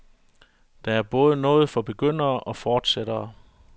Der er både noget for begyndere og fortsættere.